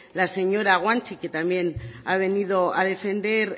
la señora guanche que también ha venido a defender